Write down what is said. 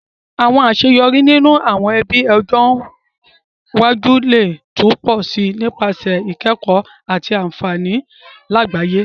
Àwon àseyorí ninú àwon ebí ọjọ́ iwájú le tun pọ si nípasẹ̀ ìkẹ̀kó àti ànfàní làgbáyẹ́